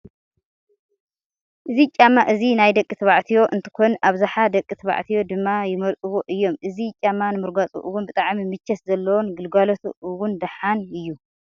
እዚ ጫማ እዚ ናይ ደቂ ባዕትዮ እንትኮን ኣብዝሓ ደቂ ተባዕትዮ ድማ ይመርፅዎ እዮም። እዚ ጫማ ንምርጋፁ እውን ብጣዕሚ ምቸት ዘለዎን ግልጋለቱ እውን ደሓን እዩ።